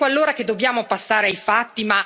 Ecco allora che dobbiamo passare ai fatti.